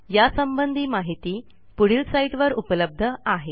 यासंबंधी माहिती पुढील साईटवर उपलब्ध आहे